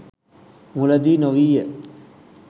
මුලදී නොවීය.